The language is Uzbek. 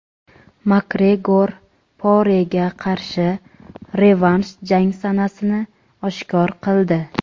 Makgregor Porega qarshi revansh jang sanasini oshkor qildi.